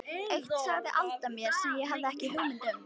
Eitt sagði Alda mér sem ég hafði ekki hugmynd um.